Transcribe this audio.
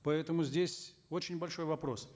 поэтому здесь очень большой вопрос